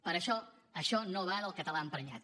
per això això no va del català emprenyat